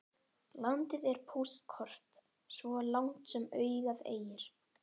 Landið er póstkort svo langt sem augað eygir.